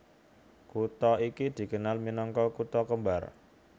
Kutha iki dikenal minangka Kutha kembar